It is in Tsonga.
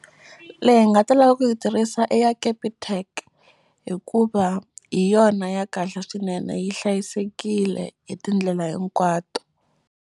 Leyi hi nga ta lava ku yi tirhisa i ya Capitec hikuva hi yona ya kahle swinene yi hlayisekile hi tindlela hinkwato.